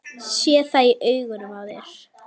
Sé það í augunum á þér.